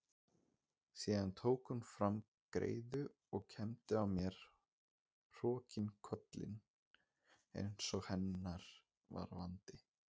Síðan tók hún fram greiðu og kembdi á mér hrokkinkollinn einsog hennar var vandi.